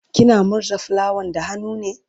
kina murza fulawan da hannu ne?